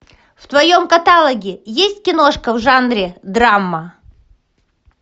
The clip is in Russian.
в твоем каталоге есть киношка в жанре драма